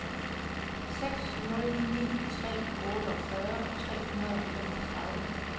seks nul ni tre otteogfyrre tre hundrede og femogtredive